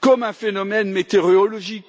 comme un phénomène météorologique.